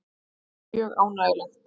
Þetta er mjög ánægjulegt